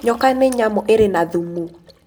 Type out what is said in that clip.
Nyoka nĩ nyamũ ĩrĩ na thumu.